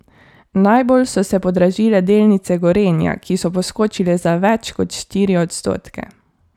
Najbolj so se podražile delnice Gorenja, ki so poskočile za več kot štiri odstotke.